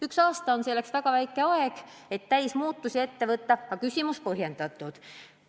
Üks aasta on selleks väga lühike aeg, et suuri muudatusi ette võtta, aga küsimus põhjendatud.